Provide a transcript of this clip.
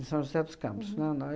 Em São José dos Campos, né, no